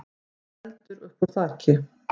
stóð eldur uppúr þaki.